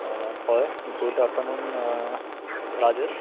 অ, হয় good afternoon uh Rajesh